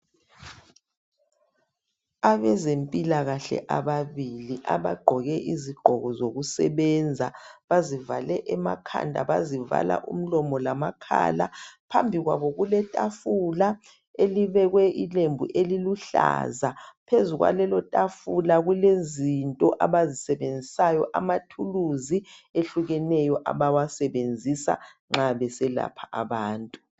Abezempilakahle ababili abagqoke izigqoko zokusebenza bazivale emakhanda bazivala umlomo lamakhala phambi kwabo kuletafula elibekwe ilembu eliluhlaza phezu kwalelo tafula kulezinto abazisebenzisa amathuluzi ehlukeneyo abawasebenzisa nxa beselapha abantu.